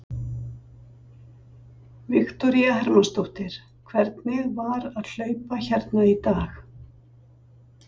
Viktoría Hermannsdóttir: Hvernig var að hlaupa hérna í dag?